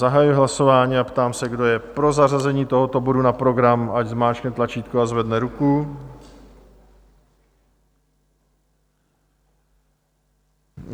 Zahajuji hlasování a ptám se, kdo je pro zařazení tohoto bodu na program, ať zmáčkne tlačítko a zvedne ruku.